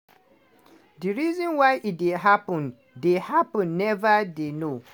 di reason why e dey happun dey happun neva dey known.